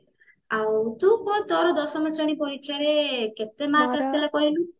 ଆଉ ତୁ କହ ତୋର ଦଶମ ଶ୍ରେଣୀ ପରୀକ୍ଷାରେ କେତେ mark ଆସିଥିଲା କହିଲୁ